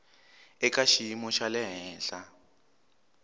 eka xiyimo xa le henhla